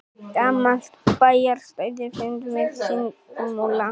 Gamalt bæjarstæði finnst við Þingmúla